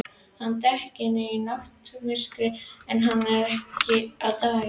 Hann er dekkri í náttmyrkrinu en hann er á daginn.